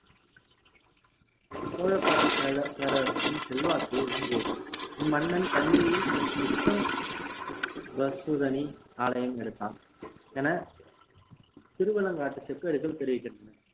சோழ பர~ பேர~ பேரரசின் செல்வாக்கை ஓங்கியது இம்மன்னன் தஞ்சையில் நிதம்~ ~பசூதனி ஆலயம் எடுத்தான் என திருவலங்காட்டு செப்பேடுகள் தெரிவிக்கின்றன